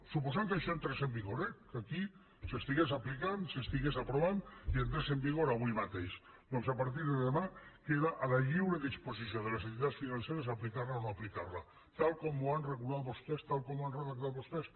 suposant que això entrés en vigor eh que aquí s’estigués aplicant s’estigués aprovant i entrés en vigor avui mateix doncs a partir de demà queda a la lliure disposició de les entitats financeres aplicar la o no aplicar la tal com ho han regulat vostès tal com ho han redactat vostès